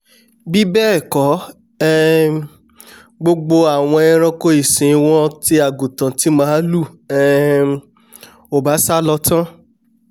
bíbẹ́ẹ̀kọ́ um gbogbo àwọn eranko ìsìn wọn ti àgùntàn ti màlúù um ò bá sálọ tán